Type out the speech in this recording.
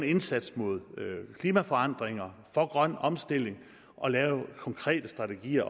indsats mod klimaforandringer og for grøn omstilling og lave konkrete strategier